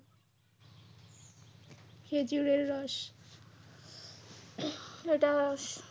খেজুরের রস এটা